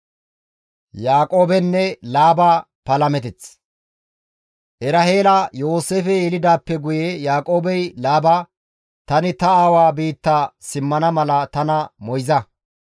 Eraheela Yooseefe yelidaappe guye Yaaqoobey Laaba, «Tani ta aawa biitta simmana mala tana moyza.